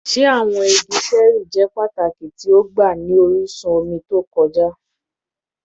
Ṣe awọn igi ṣẹẹri jẹ pataki ti ọgba ni orisun omi to kọja?